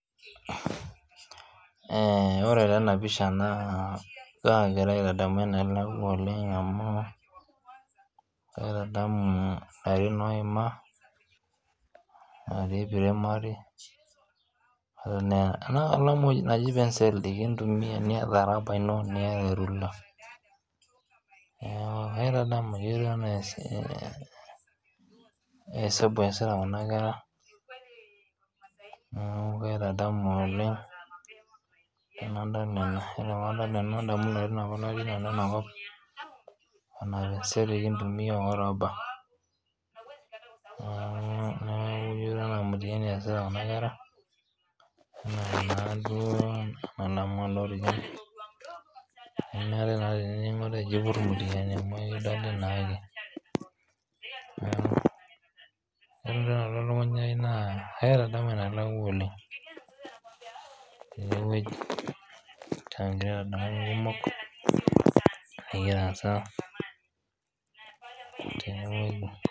Ore tenapisha naa kagira aitadamu enelakwa oleng amu, kaitadamu larin oima atii primary, ena kalamu naji penseli nikintumia niata raba ino niata erula. Neeku kaitadamu netiu enaa esabu eesita kuna kera, neeku kaitadamu oleng enadol ena. Ore padol ena nadamu inolong natii nanu inakop, ena penseli kintumia oraba. Neeku ketiu enaa mtihani eesita kuna kera, ena nadauo nemeetae naa tene eji ipur mtihani amu ekidoli naake. Neeku, ore entoki nalotu elukunya ai naa kaitadamu enelakwa oleng enewueji. Kagira aitadamu ntokiting kumok, nikitaasa tenewueji.